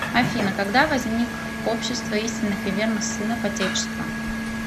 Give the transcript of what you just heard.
афина когда возник общество истинных и верных сынов отечества